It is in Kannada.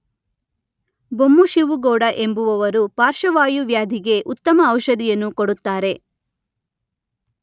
ಬೊಮ್ಮು ಶಿವು ಗೌಡ ಎಂಬುವವರು ಪಾರ್ಶವಾಯು ವ್ಯಾಧಿಗೆ ಉತ್ತಮ ಔಷಧಿಯನ್ನು ಕೊಡುತ್ತಾರೆ.